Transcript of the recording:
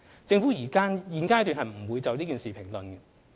政府現階段不會就此事評論。